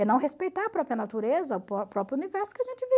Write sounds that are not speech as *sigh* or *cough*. É não respeitar a própria natureza, *unintelligible* próprio universo que a gente